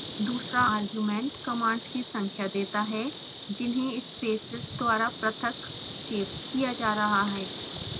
दूसरा argument commands की संख्या देता है जिन्हें स्पेसेस द्वारा पृथक सेव किया जा रहा है